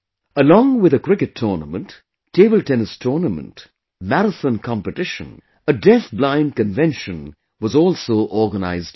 Along with a Cricket Tournament, Table Tennis Tournament, Marathon Competition, a DeafBlind Convention was also organized here